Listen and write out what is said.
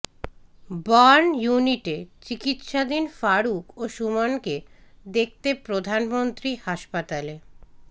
burn ইউনিটে চিকিৎসাধীন ফারুক ও সুমনকে দেখতে প্রধানমন্ত্রী হাসপাতালে